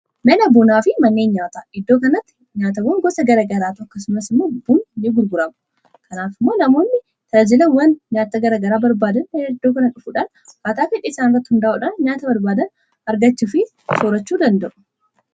Mana bunaa fi manneen nyaataa iddoo kanatti nyaata fi bunatu argama.